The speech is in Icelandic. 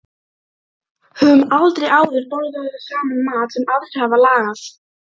Höfum aldrei áður borðað saman mat sem aðrir hafa lagað.